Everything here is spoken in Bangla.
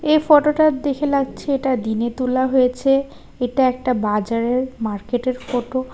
এ ফটোটা দেখে লাগছে এটা দিনে তোলা হয়েছে এটা একটা বাজারের মার্কেটের ফটো ।